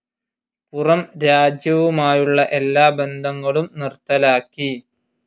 പുറം രാജ്യവുമായുള്ള എല്ലാ ബന്ധങ്ങളും നിർത്തലാക്കി.